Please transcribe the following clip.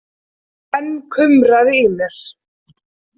Enn kumraði í mér.